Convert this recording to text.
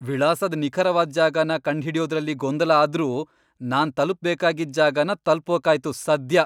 ವಿಳಾಸದ್ ನಿಖರವಾದ್ ಜಾಗನ ಕಂಡ್ಹಿಡ್ಯೋದ್ರಲ್ಲಿ ಗೊಂದಲ ಆದ್ರೂ, ನಾನು ತಲುಪ್ಬೇಕಾಗಿದ್ ಜಾಗನ ತಲ್ಪೋಕಾಯ್ತು ಸದ್ಯ!